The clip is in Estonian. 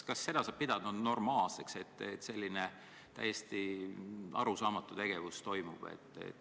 Kas saab pidada normaalseks, et toimub selline täiesti arusaamatu tegevus?